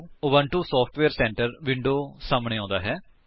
Ubuntu software centre window ਸਾਹਮਣੇ ਆਉਂਦਾ ਹੈ